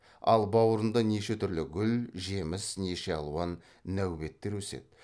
ал бауырында неше түрлі гүл жеміс неше алуан нәубеттер өседі